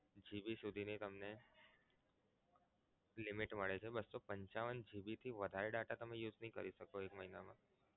GB સુધી ની તમને limit મળે છે બસો પંચાવન GB થી વધારે data તમે use નહીં કરી શકો એક મહિનામા